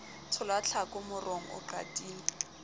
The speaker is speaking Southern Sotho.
tshola tlhako morong o qatile